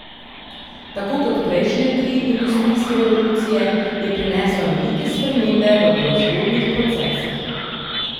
Tako kot prejšnje tri industrijske revolucije je prinesla velike spremembe v proizvodnih procesih.